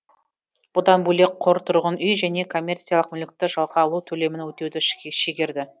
бұдан бөлек қор тұрғын үй және коммерциялық мүлікті жалға алу төлемін өтеуді шегерді